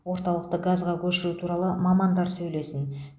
орталықты газға көшіру туралы мамандар сөйлесін